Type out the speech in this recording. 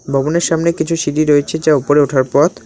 ভবনের সামনে কিছু সিঁড়ি রয়েছে যা ওপরে ওঠার পথ--